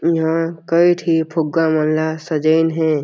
इंहा कई ठी फुग्गा मन ला सजाइन हे।